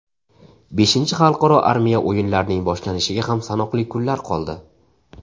Beshinchi xalqaro armiya o‘yinlarining boshlanishiga ham sanoqli kunlar qoldi.